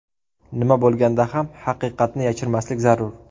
Nima bo‘lganda ham haqiqatni yashirmaslik zarur.